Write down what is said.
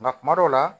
Nka kuma dɔw la